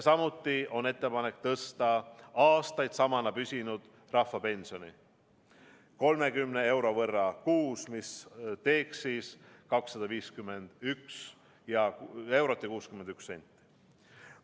Samuti on ettepanek tõsta aastaid samana püsinud rahvapensioni 30 euro võrra kuus, mis teeks siis 251 eurot ja 61 senti.